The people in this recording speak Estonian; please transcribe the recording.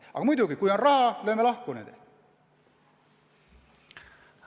Aga muidugi, kui on raha, siis lööme kohtunikud ja prokurörid lahku.